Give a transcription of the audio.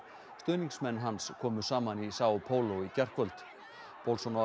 stuðningsmenn hans komu saman í Sao Paulo í gærkvöld